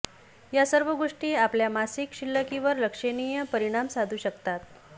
या सर्व गोष्टी आपल्या मासिक शिल्लकीवर लक्षणीय परिणाम साधू शकतात